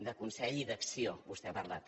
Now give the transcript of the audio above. de consell i d’acció vostè n’ha parlat